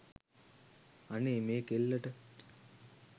අනේ මේ කෙල්ලට